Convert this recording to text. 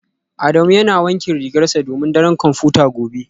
Adamu yana wankin rigarsa domin daren kwamfuta gobe